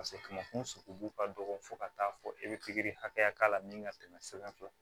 sogobu ka dɔgɔ fo ka taa fɔ e be pikiri hakɛya k'a la min ka tɛmɛ sɛbɛn fɛ